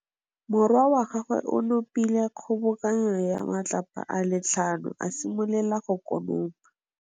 Morwa wa gagwe o nopile kgobokanô ya matlapa a le tlhano, a simolola go konopa.